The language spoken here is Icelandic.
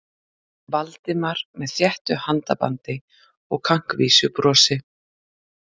Valdimari með þéttu handabandi og kankvísu brosi.